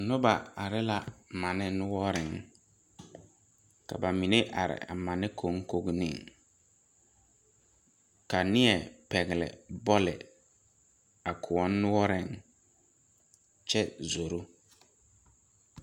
Noba are la manne noɔreŋ ka ba mine are a mane koŋkoneŋ ka nie pɛgle bɔle a kõɔ noɔreŋ kyɛ zoro.